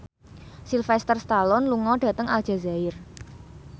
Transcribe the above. Sylvester Stallone lunga dhateng Aljazair